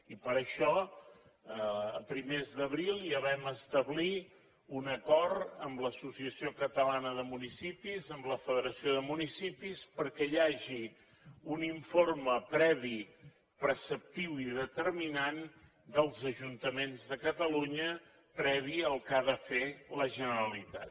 i per això a primers d’abril ja vam establir un acord amb l’associació catalana de municipis amb la federació de municipis perquè hi hagi un informe previ preceptiu i determinant dels ajuntaments de catalunya previ al que ha de fer la generalitat